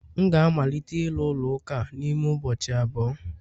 M ga-amalite ịru ụlọ ụka a n'ime ụbọchị abụọ